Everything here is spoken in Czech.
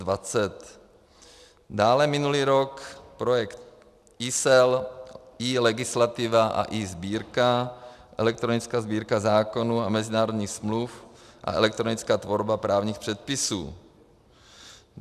Dále minulý rok projekt eSeL, eLegislativa a eSbírka, elektronická Sbírka zákonů a mezinárodních smluv a elektronická tvorba právních předpisů.